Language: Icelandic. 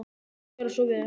Gjörðu svo vel.